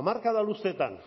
hamarkada luzeetan